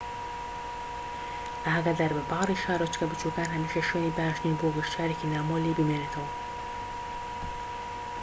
ئاگاداربە باڕی شارۆچکە بچوکەکان هەمیشە شوێنی باش نین بۆ گەشتیارێکی نامۆ لێی بمێنێتەوە